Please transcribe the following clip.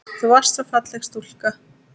Þú varst svo falleg stúlka.